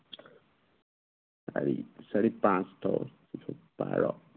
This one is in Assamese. বিচাৰি বিচাৰি পাঁচ দহ বাৰ